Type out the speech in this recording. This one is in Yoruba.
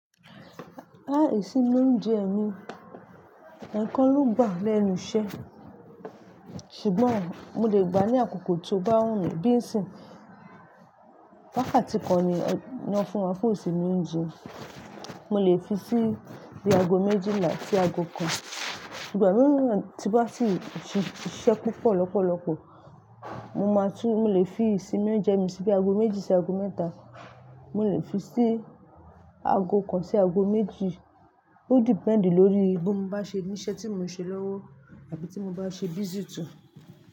Láìsí lóúnjẹ́ mi, ẹ̀ẹ̀kan ló gbà lẹ́nu iṣẹ́. Ṣùgbọ́n mo lè gbà ní àkókò tí ó bá wù mí bí ìsìn. Wákàtí kan ni ó ń fún wa fún ìsinú oúnjẹ́. Mo lè fi sí i bi ago méjìlà sí ago kan. Ṣùgbọ́n bí mo bá ti siṣẹ́ púpọ̀ lọ́pọ̀lọpọ̀, mo máa tún-- mo lè fi ìsinú óúnjẹ́ mi sí bi ago méjì sí ago mẹ́ta. Mo lè fi sí ago kan sí ago méjì. Ó depend lórí bí mo bá ṣe ní iṣẹ́ tí mo ń ṣe lọ́wọ́ àbí tí mo bá ṣe busy to.